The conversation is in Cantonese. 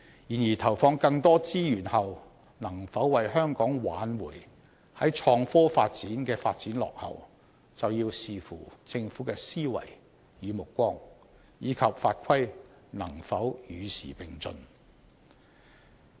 然而，投放更多資源後能否為香港挽回創科發展的落後，就要視乎政府的思維與目光，以及法規能否與時並進。